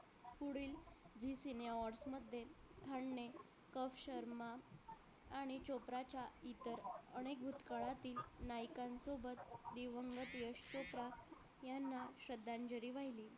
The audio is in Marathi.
पुढील zee cine awards मध्ये खान ने कफ शर्मा आणि चोप्रा च्या इतर अनेक भूतकाळातील नायकांसोबत यश चोप्रा यांना श्रद्धांजली वाहिली